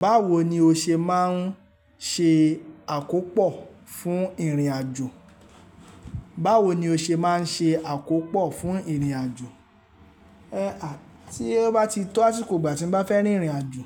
Báwo ni o ṣe máa ń ṣe àkópò fún ìrìnàjò? Báwo ni o ṣe máa ń ṣe àkópò fún ìrìnàjò? A a, tí ó bá ti tó àsikò'gbà tí mo bá fẹ́ rin ìrìnàjò,